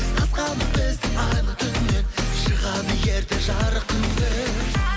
қызғанып бізді айлы түннен шығады ерте жарық күн де